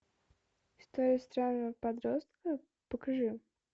история странного подростка покажи